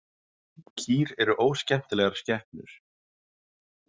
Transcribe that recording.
Kýr eru óskemmtilegar skepnur.